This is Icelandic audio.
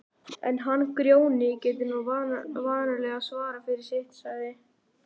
En hann Grjóni getur nú vanalega svarað fyrir sitt, sagði